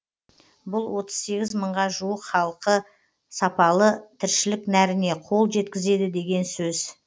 бұл отыз сегіз мыңға жуық халық сапалы тіршілік нәріне қол жеткізеді деген сөз